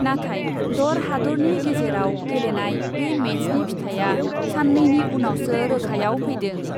नाथाय दर हादरनि गेजेराव गेलेनाय बे मेचनि फिथाइआ साननैनि उनावसो रोखायाव फैदों ।